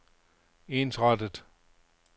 ensrettet